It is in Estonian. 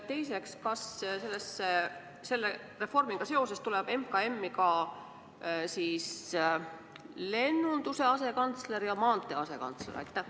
Teiseks: kas selle reformiga seoses tuleb MKM-i ka lennunduse asekantsler ja maantee asekantsler?